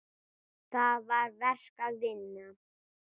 Þar var verk að vinna.